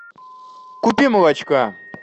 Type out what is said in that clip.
купи молочка